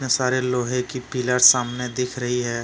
सारे लोहे की पिलर् सामने दिख रही है।